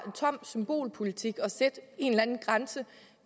tom symbolpolitik at sætte en eller anden grænse